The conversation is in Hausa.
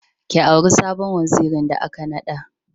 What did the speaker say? Ki auri sabon wazirin da aka naɗa.